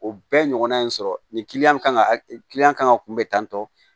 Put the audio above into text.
O bɛɛ ɲɔgɔnna in sɔrɔ nin kan ka kan ka kunbɛn tantɔ